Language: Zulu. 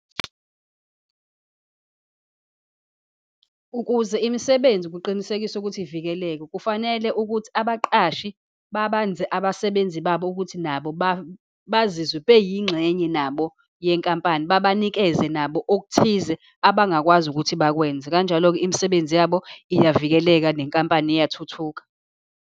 Ukuze imisebenzi kuqinisekise ukuthi ivikeleke, kufanele ukuthi abaqashi babanze abasebenzi babo ukuthi nabo bazizwe beyingxenye nabo yenkampani, babanikeze nabo okuthize abangakwazi ukuthi bakwenze. Kanjalo-ke imisebenzi yabo iyavikeleka, nenkampani iyathuthuka.